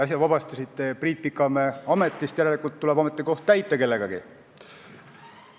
Äsja vabastasite Priit Pikamäe ametist, järelikult tuleb ametikoht kellegagi täita.